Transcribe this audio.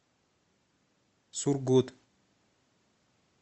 сургут